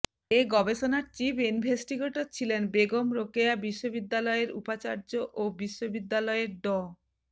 এ গবেষণার chief investigator ছিলেন বেগম রোকেয়া বিশ্ববিদ্যালয়ের উপাচার্য ও বিশ্ববিদ্যালয়ের ড